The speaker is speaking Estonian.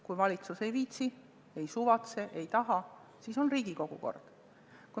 Kui valitsus ei viitsi, ei suvatse ega taha, siis on Riigikogu kord.